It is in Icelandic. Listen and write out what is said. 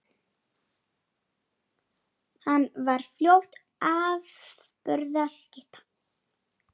Hann varð fljótt afburða skytta.